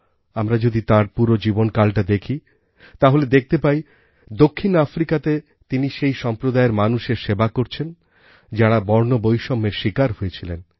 আমরা যদি তাঁর পুরো জীবনকালটা দেখি তাহলে দেখতে পাই দক্ষিণ আফ্রিকাতে তিনি সেই সম্প্রদায়ের মানুষের সেবা করেছেন যাঁরা বর্ণবৈষম্যের শিকার হয়েছিলেন